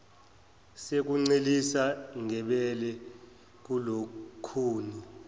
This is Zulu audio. sokuncelisa ngebele kulukhuni